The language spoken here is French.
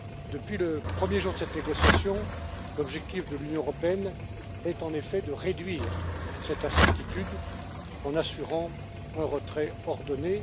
Depuis le premier jour des négociations, l'objectif de l'Union européenne est en effet de réduire cette incertitude en assurant un retrait ordonné.